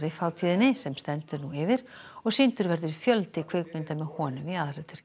hátíðinni sem stendur nú yfir og sýndur verður fjöldi kvikmynda með honum í aðalhlutverki